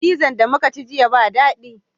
Fizan da muka ci jiya ba dadi